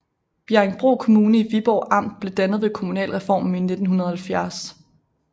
Bjerringbro Kommune i Viborg Amt blev dannet ved kommunalreformen i 1970